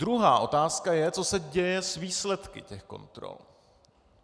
Druhá otázka je, co se děje s výsledky těch kontrol.